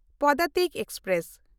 Padatik express